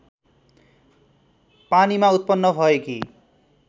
पानीमा उत्पन्न भएकी